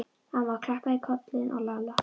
Amma klappaði á kollinn á Lalla.